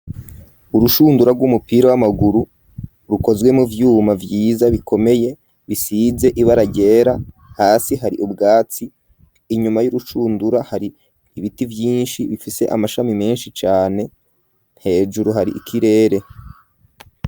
Urushundura rw'umupira w'amaguru rukozwe mo vyuma vyiza bikomeye bisize ibara ryera hasi hari ubwatsi inyuma y'urushundura hari ibiti byinshi bifise amashami menshi cane nhejuru hari ikirere.